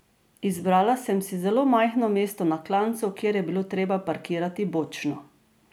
Izbrala sem si zelo majhno mesto na klancu, kjer je bilo treba parkirati bočno.